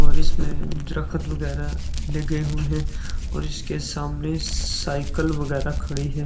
और इसमें दरखद वगैरह लगे हुए हैं और इसके सामने साइकिल वगैरह खड़ी है।